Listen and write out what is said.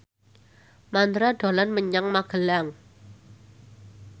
Mandra dolan menyang Magelang